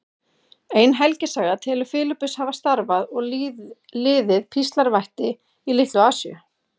Ein helgisaga telur Filippus hafa starfað og liðið píslarvætti í Litlu-Asíu.